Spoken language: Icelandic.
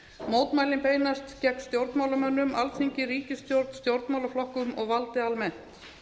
mótmælin beinast gegn stjórnmálamönnum alþingi ríkisstjórn stjórnmálaflokkum og valdi almennt